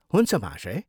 हुन्छ महाशय।